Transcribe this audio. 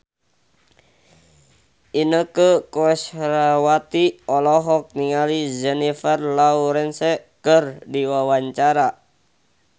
Inneke Koesherawati olohok ningali Jennifer Lawrence keur diwawancara